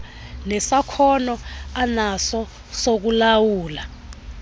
nesakhono anaso sokulawula